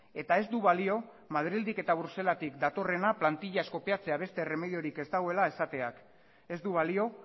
eta ez du balio madrildik eta bruselasetik datorrena plantilaz kopiatzea beste erremediorik ez dagoela esateak ez du balio